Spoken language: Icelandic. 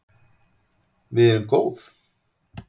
Við erum góð.